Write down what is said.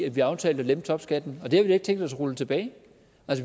at vi aftalte at lempe topskatten og det har vi da ikke tænkt os at rulle tilbage